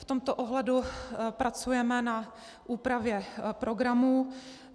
V tomto ohledu pracujeme na úpravě programů.